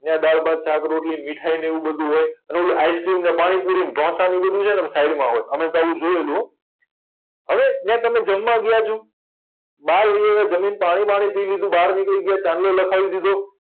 ન્યા બારબર શાક રોટલી મીઠાયને એવું બધુય હોય અને ઓલો આઈસ્ક્રીમને પાણીપુરીને ઢોસાને ઇ બધું છેને આમ સાઇડમાં હોય અમેતો આવું જોયેલું હો હવે ન્યા તમે જમવા ગયા છો બાર વયાવા જમીને પાણી બાણી પીય લીધુ બરાબર નીકળી ગયા ચાંદલો લખાવી દીધો